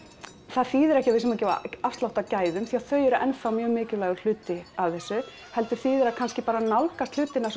það þýðir ekki að við séum að gefa afslátt af gæðum því þau eru enn þá mjög mikilvægur hluti af þessu heldur þýðir það kannski að nálgast hlutina